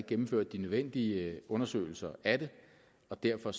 gennemført de nødvendige undersøgelser af det og derfor